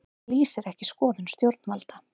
Lýsir ekki skoðun stjórnvalda